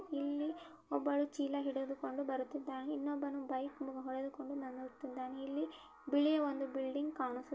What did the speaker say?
ಇಲ್ಲಿ ಒಬ್ಬಳು ಚೀಲ ಹಿಡಿದುಕೊಂಡಿದು ಬರುತ್ತಿದ್ದಾಳೆ ಇನ್ನೊಬ್ಬನು ಬೈಕ್ ಮತ್ತು ಇಲ್ಲಿ ಬಿಳಿಯ ಬಿಲ್ಡಿಂಗ್ ಕಾಣಿಸು--